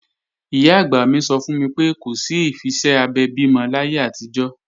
Ìyá-àgbà mi sọ fún mi pé, kò sí ìfiṣẹ́ abẹ bímọ láyé àtijọ́